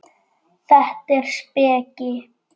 Þetta er speki.